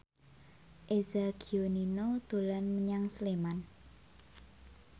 Eza Gionino dolan menyang Sleman